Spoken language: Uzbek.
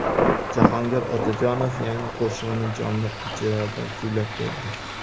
Jahongir Otajonov yangi qo‘shig‘ini jonli ijroda kuylab berdi.